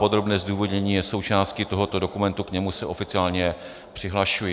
Podrobné zdůvodnění je součástí tohoto dokumentu, k němu se oficiálně přihlašuji.